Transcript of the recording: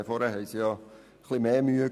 Vorhin hatte sie ja etwas mehr Mühe.